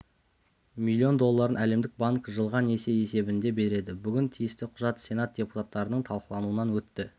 млн долларын әлемдік банк жылға несие есебінде береді бүгін тиісті құжат сенат депутаттарының талқылауынан өтті